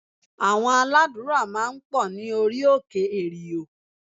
Àwọn aládùúrà máa ń pọ̀ ní orí òkè èrìò